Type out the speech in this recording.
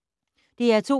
DR2